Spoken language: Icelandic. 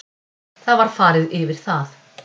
Það var farið yfir það